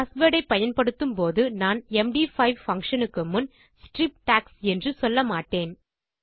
password ஐ பயன்படுத்தும் போது நான் எம்டி5 பங்ஷன் க்கு முன் ஸ்ட்ரிப் டாக்ஸ் என்று சொல்ல மாட்டேன்